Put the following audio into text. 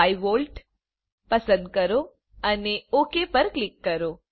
5V પસંદ કરો અને ઓક ઉપર ક્લિક કરો